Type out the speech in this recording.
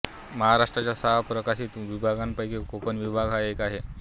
महाराष्ट्राच्या सहा प्रशासकीय विभागांपैकी कोकण विभाग हा एक आहे